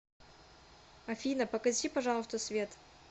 афина погаси пожалуйста свет